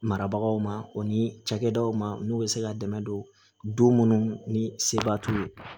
Marabagaw ma o ni cakɛdaw ma n'u bɛ se ka dɛmɛ don munnu ni seba t'u ye